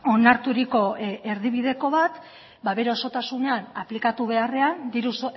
onarturiko erdibideko bat bere osotasunean aplikatu beharrean diru